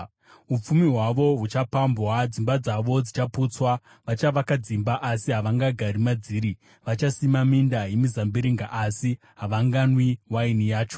Upfumi hwavo huchapambwa, dzimba dzavo dzichaputswa, vachavaka dzimba, asi havangagari madziri; vachasima minda yemizambiringa, asi havanganwi waini yacho.